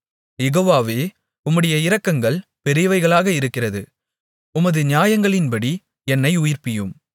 யெகோவாவே உம்முடைய இரக்கங்கள் பெரியவைகளாக இருக்கிறது உமது நியாயங்களின்படி என்னை உயிர்ப்பியும்